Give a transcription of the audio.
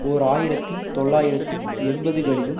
ஓர் ஆயிரத்தி தொள்ளாயிரத்தி எண்பதுகளிலும்